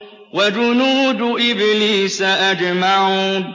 وَجُنُودُ إِبْلِيسَ أَجْمَعُونَ